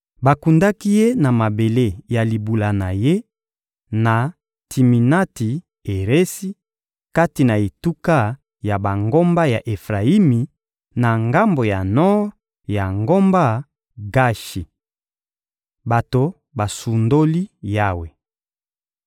Bakundaki ye na mabele ya libula na ye, na Timinati-Eresi, kati na etuka ya bangomba ya Efrayimi, na ngambo ya nor ya ngomba Gashi. Bato basundoli Yawe